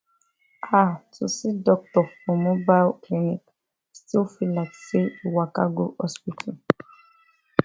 ah to see doctor for mobile clinic still feel like say you waka go hospital